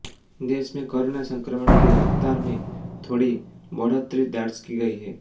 देश में कोरोना संक्रमण की रफ्तार में थोड़ी बढ़ोतरी दर्ज की गई है